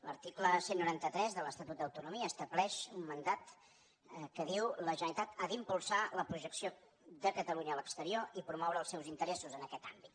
l’article cent i noranta tres de l’estatut d’autonomia estableix un mandat que diu la generalitat ha d’impulsar la projecció de catalunya a l’exterior i promoure els seus interessos en aquest àmbit